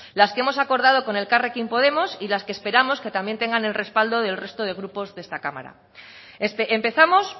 las que hemos acordado con elkarrekin podemos y las que esperamos que también tengan el respaldo del resto de grupos de esta cámara empezamos